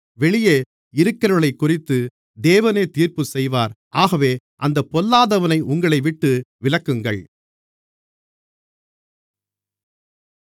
வெளியே இருக்கிறவர்களைக்குறித்து தேவனே தீர்ப்புச்செய்வார் ஆகவே அந்தப் பொல்லாதவனை உங்களைவிட்டு விலக்குங்கள்